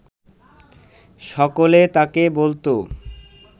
সকলে তাকে বলত